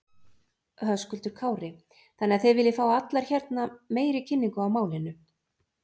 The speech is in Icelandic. Höskuldur Kári: Þannig að þið viljið fá allar hérna meiri kynningu á málinu?